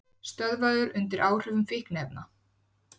Stöðvaður undir áhrifum fíkniefna